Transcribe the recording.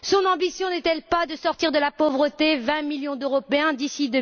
Son ambition n'est elle pas de sortir de la pauvreté 20 millions d'Européens d'ici